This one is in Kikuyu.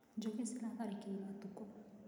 Njũkĩ ciratharĩkĩire ũtukũ